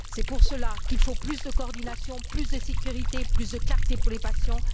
C'est pour cela qu'il faut plus de coordination, plus de sécurité, plus de clarté pour les patients.